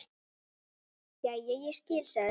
Jæja, ég skil, sagði hún.